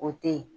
O teyi